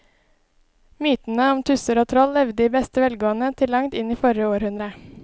Mytene om tusser og troll levde i beste velgående til langt inn i forrige århundre.